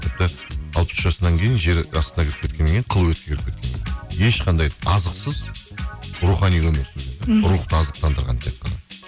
тіпті алпыс үш жасынан кейін жер астында кіріп кеткеннен кейін ешқандай азықсыз рухани өмір сүрген мхм рухты азықтандырған тек қана